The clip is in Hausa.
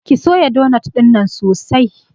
Ki soya donot ɗinnan sosai!